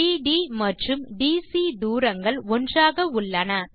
பிடி மற்றும் டிசி தூரங்கள் ஒன்றாக உள்ளன